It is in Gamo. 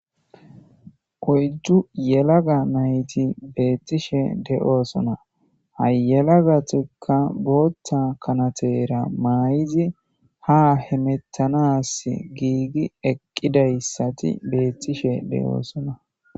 Oyddu yelaga nayti beettishe de'oosona hayelagatekka bootta kanatera maay'izi ha hemettanas giigi eqqidayssati beettishe de'oosona